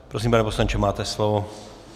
Prosím, pane poslanče, máte slovo.